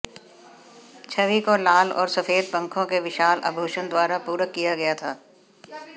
छवि को लाल और सफेद पंखों के विशाल आभूषण द्वारा पूरक किया गया था